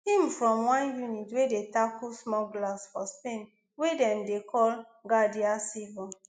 im from one unit wey dey tackle smugglers for spain wey dem dey call guardia civil